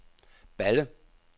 Balle